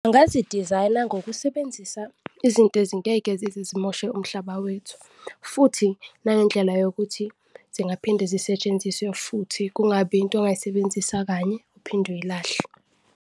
Angazi dizayina ngokusebenzisa izinto ezingeke zize zimoshe umhlaba wethu futhi nangendlela yokuthi zingaphinde zisetshenziswe futhi, kungabi into ongayisebenzisa kanye uphinde uyilahle.